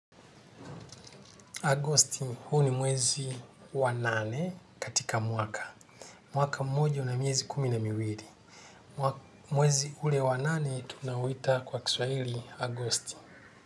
Agosti huu ni mwezi wa nane katika mwaka. Mwaka mmoja una miezi kumi na miwili. Mwezi ule wa nane tunauita kwa kiswahili Agosti.